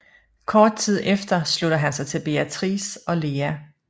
Kort tid efter slutter han sig til Beatrice og Lea